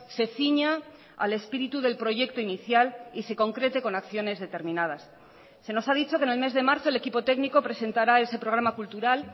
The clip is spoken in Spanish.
se ciña al espíritu del proyecto inicial y se concrete con acciones determinadas se nos ha dicho que en el mes de marzo el equipo técnico presentará ese programa cultural